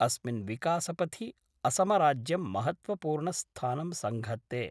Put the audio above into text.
अस्मिन् विकासपथि असमराज्यं महत्वपूर्ण स्थानं संघत्ते।